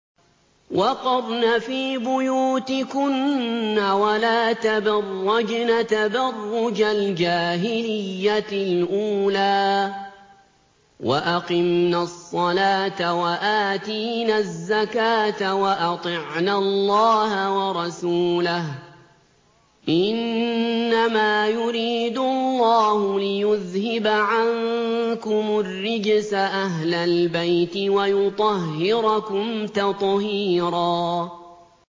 وَقَرْنَ فِي بُيُوتِكُنَّ وَلَا تَبَرَّجْنَ تَبَرُّجَ الْجَاهِلِيَّةِ الْأُولَىٰ ۖ وَأَقِمْنَ الصَّلَاةَ وَآتِينَ الزَّكَاةَ وَأَطِعْنَ اللَّهَ وَرَسُولَهُ ۚ إِنَّمَا يُرِيدُ اللَّهُ لِيُذْهِبَ عَنكُمُ الرِّجْسَ أَهْلَ الْبَيْتِ وَيُطَهِّرَكُمْ تَطْهِيرًا